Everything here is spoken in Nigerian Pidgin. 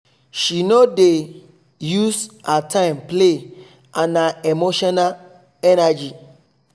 she no dey use her time play and her emotional energy